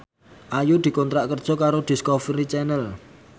Ayu dikontrak kerja karo Discovery Channel